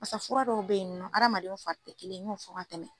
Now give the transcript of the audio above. Basa fura dɔw be yen nɔ adamadenw fari tɛ kelen n y'o fɔ ka tɛmɛ